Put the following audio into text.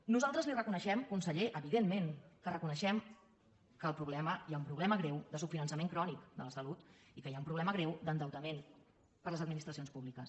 nosaltres li reconeixem conseller evidentment que li ho reconeixem que hi ha un problema greu de subfinançament crònic de la salut i que hi ha un problema greu d’endeutament per a les administracions públiques